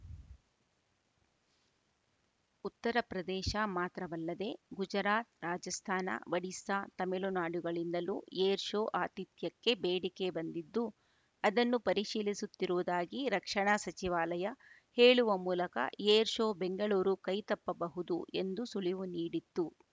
ಉತ್ತರಪ್ರದೇಶ ಮಾತ್ರವಲ್ಲದೇ ಗುಜರಾತ್‌ ರಾಜಸ್ಥಾನ ಒಡಿಸಾ ತಮಿಳುನಾಡುಗಳಿಂದಲೂ air show ಆತಿಥ್ಯಕ್ಕೆ ಬೇಡಿಕೆ ಬಂದಿದ್ದು ಅದನ್ನು ಪರಿಶೀಲಿಸುತ್ತಿರುವುದಾಗಿ ರಕ್ಷಣಾ ಸಚಿವಾಲಯ ಹೇಳುವ ಮೂಲಕ ಏರ್‌ ಶೋ ಬೆಂಗಳೂರು ಕೈತಪ್ಪಬಹುದು ಎಂದು ಸುಳಿವು ನೀಡಿತ್ತು